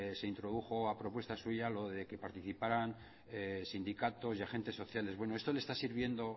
se introdujo a propuesta suya lo de que participaran sindicatos y agentes sociales bueno esto le está sirviendo